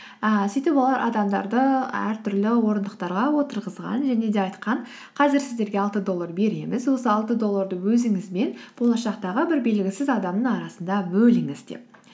ііі сөйтіп олар адамдарды әртүрлі орындықтарға отырғызған және де айтқан қазір сіздерге алты доллар береміз осы алты долларды өзіңіз бен болашақтағы бір белгісіз адамның арасында бөліңіз деп